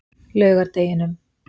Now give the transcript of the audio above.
laugardeginum